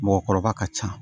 Mɔgɔkɔrɔba ka ca